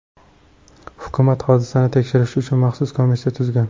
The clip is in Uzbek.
Hukumat hodisani tekshirish uchun maxsus komissiya tuzgan.